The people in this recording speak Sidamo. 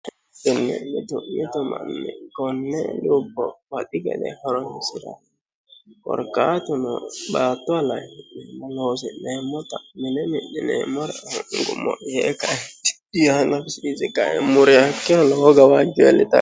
inne'mitu'yitomanni konne lubbo baxi gede horomsira gorkaatuno baattuwalayihi'nem loosi'neemmota mine midhineemmora nngumo yee kaetidiyaanafisirisi qae muriyakkino loho gawaajcu eellitano